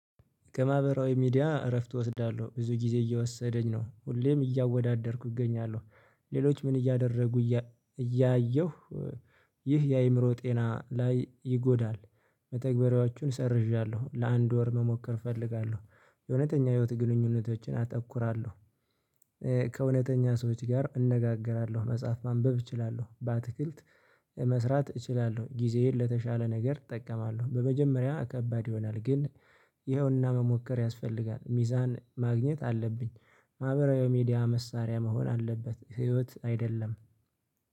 ከማህበራዊ ሚዲያ እረፍት እወስዳለሁ። ብዙ ጊዜ እየወሰደኝ ነው። ሁሌም እያወዳደርኩ እገኛለሁ። ሌሎች ምን እያደረጉ እያ እያየሁ ይህ የአእምሮ ጤና ላይ ይጎዳል። መተግበሪያዎቹን ሰርዣለሁ። ለአንድ ወር መሞከር እፈልጋለሁ። የእውነተኛ ህይወት ግንኙነቶችን አተኩራለሁ። ከእውነተኛ ሰዎች ጋር እነጋገራለሁ። መጽሐፍ ማንበብ እችላለሁ። በአትክልት መስራት እችላለሁ። ጊዜዬን ለተሻለ ነገር እጠቀማለሁ። በመጀመሪያ ከባድ ይሆናል፤ ግን ይኸውና መሞከር ያስፈልጋል። ሚዛን ማግኘት አለብኝ። ማህበራዊ ሚዲያ መሳሪያ መሆን አለበት፤ ህይወት አይደለም።